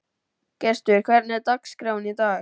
Gestur, hvernig er dagskráin í dag?